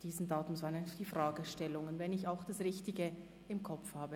Dies die Fragestellungen, wenn ich das richtig im Kopf habe.